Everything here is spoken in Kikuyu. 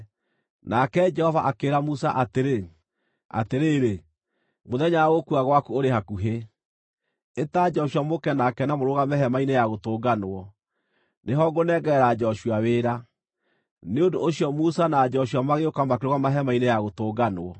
Nake Jehova akĩĩra Musa atĩrĩ, “Atĩrĩrĩ, mũthenya wa gũkua gwaku ũrĩ hakuhĩ. Ĩta Joshua mũũke nake na mũrũgame Hema-inĩ-ya-Gũtũnganwo, nĩho ngũnengerera Joshua wĩra.” Nĩ ũndũ ũcio Musa na Joshua magĩũka makĩrũgama Hema-inĩ-ya-Gũtũnganwo.